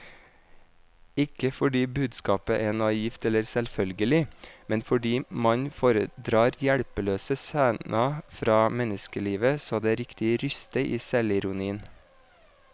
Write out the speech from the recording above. Ikke fordi budskapet er naivt eller selvfølgelig, men fordi mannen foredrar hjelpeløse scener fra menneskelivet så det riktig ryster i selvironien.